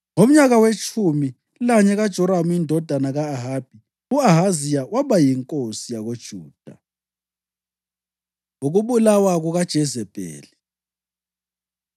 (Ngomnyaka wetshumi lanye kaJoramu indodana ka-Ahabi, u-Ahaziya waba yinkosi yakoJuda.) Ukubulawa KukaJezebheli